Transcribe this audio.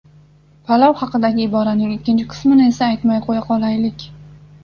Palov haqidagi iboraning ikkinchi qismini esa aytmay qo‘ya qolaylik.